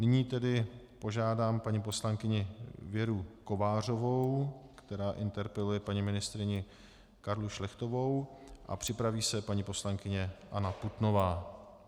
Nyní tedy požádám paní poslankyni Věru Kovářovou, která interpeluje paní ministryni Karlu Šlechtovou, a připraví se paní poslankyně Anna Putnová.